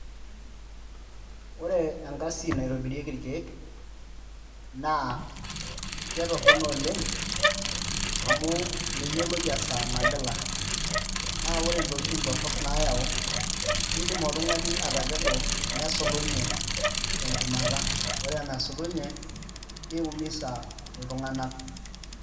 Ore engasi naitobirieki irkeek naa ketororno oleng' amu meyioloi esaa nagila naa ore intokitin nayaua kiidim oltung'ani atakedo nesulunye tenchumata, ore ena nasulunye niumisa iltunganak.